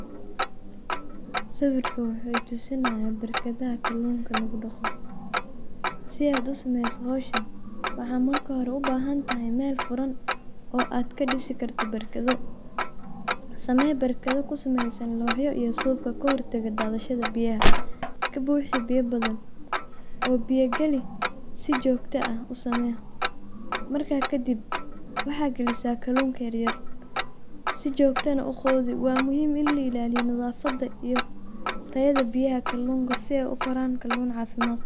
Sawirkan wuxu tusinaaya barkadaha kaluunka laagu dhaaqo. sidaad uu sameyso howshaan waxad maarka hoore uu bahaan tahay meel furaan oo aad kaa dhisi kaarto barkaado. saame barkaado kaa sameysan nocyo iyo sufkaa kahortaago dadashaada biyaha. kaa buxi biya badaan oo biya gaali sii jogta aah uusame. markaa kadiib waxa gaalisa kalunka yaar sii jogta naa u qudii waa muhiim iin laa ilaliyo nadafada iyo tayada biyaha kalunka sii eey uu koraan kaluun cafimad qaabo.